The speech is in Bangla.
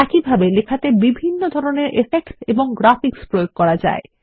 একইভাবে লেখাতে বিভিন্ন ধরনের ইফেক্টস এবং গ্রাফিক্স প্রয়োগ করা যায়